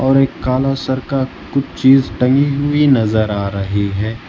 और एक काला सर का कुछ चीज टंगी हुई नजर आ रही है।